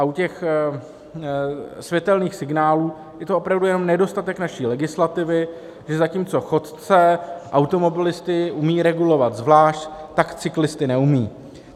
A u těch světelných signálů je to opravdu jenom nedostatek naší legislativy, že zatímco chodce, automobilisty umí regulovat zvlášť, tak cyklisty neumí.